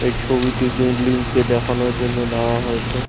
এই ছবিটি বিল্ডিং কে দেখানোর জন্য নেওয়া হয়েছে।